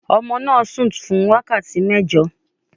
Ọmọ náà sùn fún wákàtí mẹ́jọ